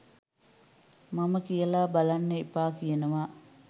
මම කියල බලන්න එපා කියනවා